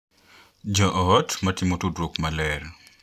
Jo ot ma timo tudruok maler